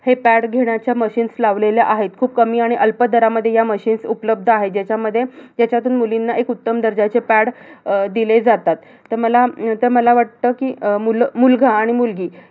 हे pad घेण्याचे machines लावलेले आहेत. खूप कमी आणि अल्प दरामध्ये ह्या machines उपलब्ध आहे. ह्यांच्यामध्ये ह्याचातून मुलींना एक उत्तम दर्जाचे pads अह दिले जातात. तर मला अं तर मला वाटतं कि अह मुलगा आणि मुलगी